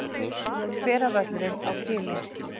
Hveravöllum á Kili.